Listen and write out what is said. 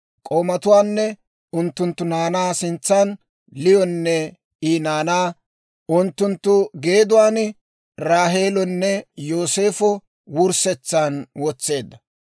K'oomatuwaanne unttunttu naanaa sintsan, Liyonne I naanaa unttunttu geeduwaan, Raaheelonne Yooseefa wurssetsan wotseedda.